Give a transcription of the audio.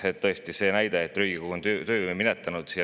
See väide, nagu Riigikogu oleks töö minetanud.